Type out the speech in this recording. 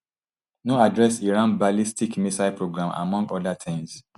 no address iran ballistic missile programme among oda tins